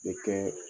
I bɛ kɛ